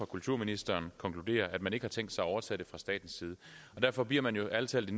kulturministeren konkludere at man ikke har tænkt sig at overtage det fra statens side derfor bliver man jo ærlig talt